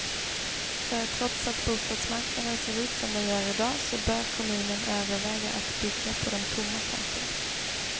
För trots att bostadsmarknaden ser ut som den gör idag, så bör kommunen överväga att bygga på de tomma tomterna.